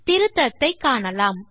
திருத்தத்தை காணலாம்